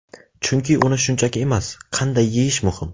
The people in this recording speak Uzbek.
Chunki uni shunchaki emas, qanday yeyish muhim.